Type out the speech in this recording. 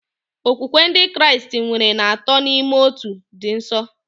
Okwukwe Ndị Kraịst kwere na Atọ n'Ime Otu dị nsọ.